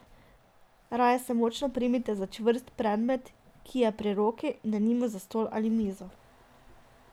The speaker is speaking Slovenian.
Raje se močno primite za čvrst predmet, ki je pri roki, denimo za stol ali mizo.